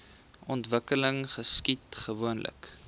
ontwikkeling geskied gewoonlik